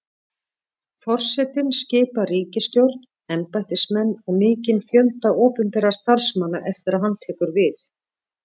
Forsetinn skipar ríkisstjórn, embættismenn og mikinn fjölda opinberra starfsmanna eftir að hann tekur við.